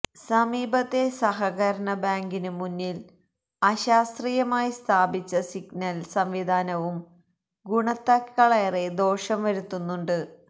സമീപത്തെ സഹകരണ ബാങ്കിനു മുന്നില് അശാസ്ത്രീയമായി സ്ഥാപിച്ച സിഗ്നല് സംവിധാനവും ഗുണത്തേക്കാളേറെ ദോഷം വരുത്തുന്നുണ്ട്